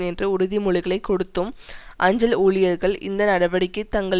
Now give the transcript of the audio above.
என்ற உறுதிமொழிகளை கொடுத்தும் அஞ்சல் ஊழியர்கள் இந்த நடவடிக்கை தங்கள்